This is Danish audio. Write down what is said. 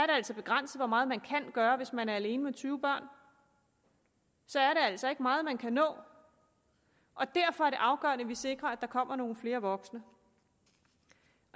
altså begrænset hvor meget man kan gøre hvis man er alene med tyve børn så er det altså ikke meget man kan nå derfor er det afgørende at vi sikrer at der kommer nogle flere voksne